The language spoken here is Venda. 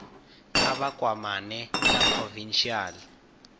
kha vha kwamane na provincial